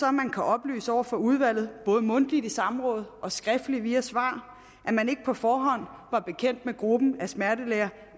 at man kan oplyse over for udvalget både mundtligt i samråd og skriftligt via svar at man ikke på forhånd var bekendt med gruppen af smertelæger